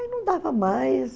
Aí não dava mais.